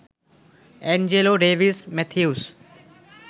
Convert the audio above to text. Angelo Davis Matthews